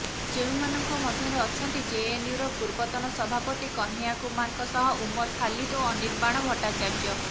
ଯେଉଁମାନଙ୍କ ମଧ୍ୟରେ ଅଛନ୍ତି ଜେଏନୟୁର ପୂର୍ବତନ ସଭାପତି କହ୍ନୈୟା କୁମାରଙ୍କ ସହ ଉମର ଖାଲିଦ ଓ ଅନିର୍ବାଣ ଭଟ୍ଟାଚାର୍ଯ୍ୟ